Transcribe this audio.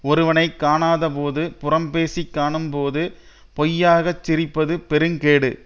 ஒருவனை காணாதபோது புறம்பேசிக் காணும்போது பொய்யாகச் சிரிப்பது பெருங்கேடு